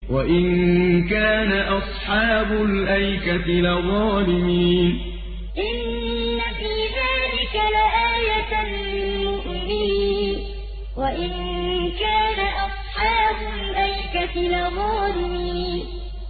وَإِن كَانَ أَصْحَابُ الْأَيْكَةِ لَظَالِمِينَ وَإِن كَانَ أَصْحَابُ الْأَيْكَةِ لَظَالِمِينَ